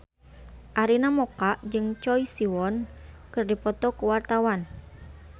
Arina Mocca jeung Choi Siwon keur dipoto ku wartawan